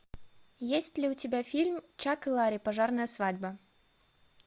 есть ли у тебя фильм чак и ларри пожарная свадьба